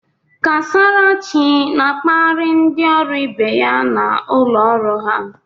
Kasarachi na-akparị ndị ọrụ ibe ya na ụlọ ọrụ ha.